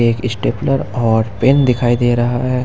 एक स्टेपलर और पेन दिखाई दे रहा है।